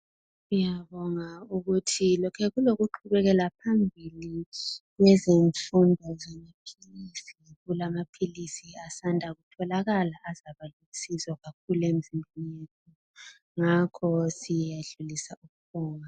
Siyabonga ukuthi lokhe kulokuqhubekela phambili ngezimfundo zamaphilisi. Kulamaphilisi asanda kutholakala azaba lusizo kakhulu emizimbeni yabantu. Ngakho siyedlulisa ukubonga.